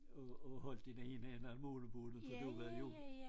Og og holde den ene ende af målebåndet for du ved jo